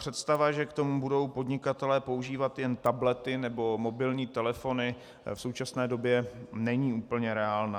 Představa, že k tomu budou podnikatelé používat jen tablety nebo mobilní telefony, v současné době není úplně reálná.